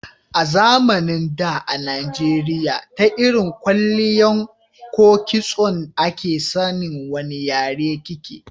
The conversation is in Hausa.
A zamanin da a najeriya ta irin kwalliyan ko kitso a ke san wani yare ki ke